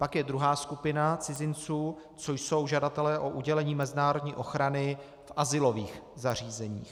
Pak je druhá skupina cizinců, což jsou žadatelé o udělení mezinárodní ochrany v azylových zařízeních.